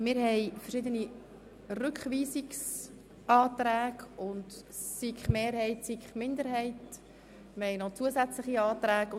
Es liegen verschiedene Rückweisungsanträge, Anträge der SiK-Mehrheit und der SiK-Minderheit sowie weitere Anträge vor.